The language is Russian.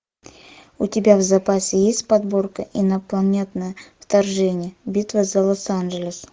у тебя в запасе есть подборка инопланетное вторжение битва за лос анджелес